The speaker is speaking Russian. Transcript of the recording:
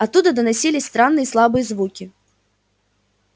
оттуда доносились странные слабые звуки